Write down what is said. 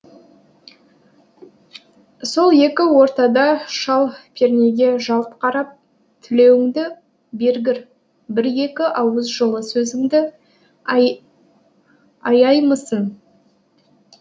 сол екі ортада шал пернеге жалт қарап тілеуіңді бергір бір екі ауыз жылы сөзіңді аяймысың